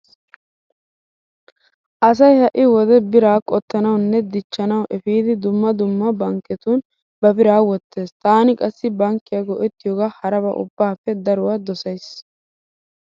Asay ha"i wode biraa qottanawunne dichchanawu efidi dumma dumma bankketun ba biraa wottees. Taani qassi bankkiya go'ettiyogaa haraba ubbaappe daruwa dosays.